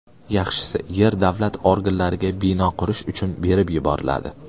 Yaxshisi, yer davlat organlariga bino qurish uchun berib yuboriladi”.